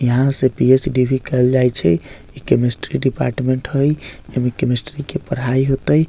यहाँ से पी.एच.डी. भी कायल जाय छै इ केमिस्ट्री डिपार्टमेंट हेय एमे केमिस्ट्री के पढ़ाई होतय।